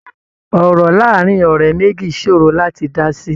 Ọ̀rọ̀ láàárín ọ̀rẹ́ méjì ṣòro láti dá sí.